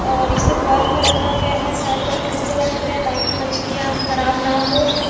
और इसे बर्फ में रखा गया है शायद बर्फ में इसलिए रखा गया है ताकि मछलियां खराब ना हो।